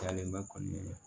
Dalen bɛ kɔnɔnelen na